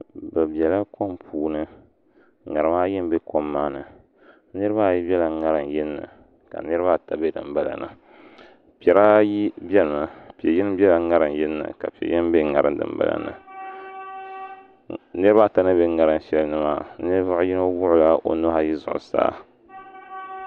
Bi biɛla kom puuni ŋarima ayi n bɛ kom maa ni niraba ayi biɛla ŋarim yinni ka niraba ata bɛ dinbala ni piɛri ayi biɛni mi piɛ yini biɛla ŋarim yinni ka piɛ yini bɛ ŋarim dinbala ni niraba ata ni bɛ ŋarim shɛli ni maa ninvuɣu yino wuɣula o nuhi ayi zuɣusaa